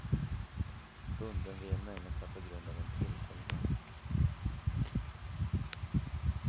Bunden vid en människa på grund av en tillfällighet.